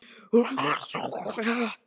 Hún hrekkur við og horfir undrandi á hann.